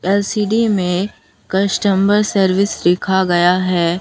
LCD में customer service लिखा गया है।